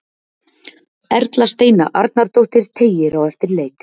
Erla Steina Arnardóttir teygir á eftir leik.